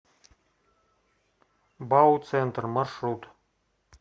бауцентр маршрут